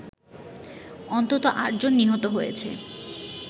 অন্তত ৮ জন নিহত হয়েছে